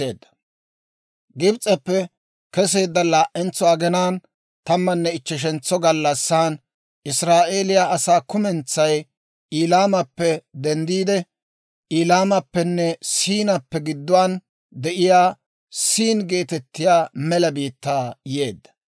Gibs'eppe keseedda laa"entso aginaan, tammanne ichcheshantso gallassan Israa'eeliyaa asaa kumentsay Eliimappe denddiide, Eliimappenne Siinappe gidduwaan de'iyaa «Siin» geetettiyaa mela biittaa yeedda.